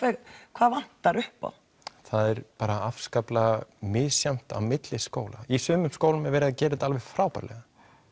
hvað vantar upp á það er bara afskaplega misjafnt á milli skóla í sumum skólum er verið að gera þetta alveg frábærlega